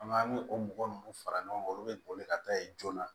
An b'an ni o mɔgɔ ninnu fara ɲɔgɔn kan olu bɛ boli ka taa yen joona